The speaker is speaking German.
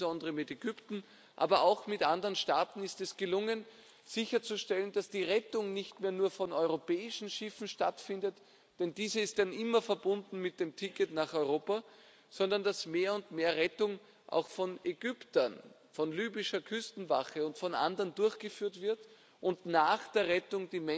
Insbesondere mit Ägypten, aber auch mit anderen Staaten, ist es gelungen sicherzustellen, dass die Rettung nicht mehr nur durch europäische Schiffe stattfindet, denn dies ist dann immer verbunden mit dem Ticket nach Europa, sondern dass mehr und mehr Rettung auch von Ägyptern, von libyscher Küstenwache und von anderen durchgeführt wird und die Menschen nach der Rettung